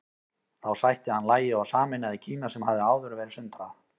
Þá sætti hann lagi og sameinaði Kína sem hafði áður verið sundrað.